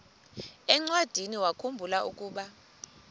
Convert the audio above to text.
encwadiniwakhu mbula ukuba